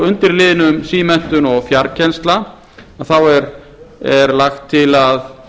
undir liðnum símenntun og fjarkennsla þá er lagt til að